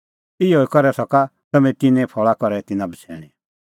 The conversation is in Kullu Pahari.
इहअ करै सका तम्हैं तिन्नें फल़ा करै तिन्नां बछ़ैणीं